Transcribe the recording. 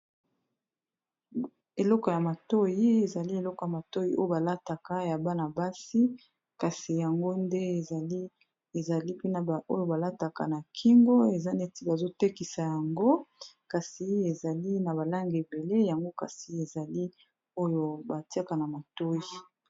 Eleko ya matoi ezali eleko ya matoi oyo balataka ya bana-basi kasi yango nde ezali pena oyo balataka na kingo, eza neti bazotekisa yango kasi ezali na balange ebele yango kasi ezali oyo batiaka na matoi.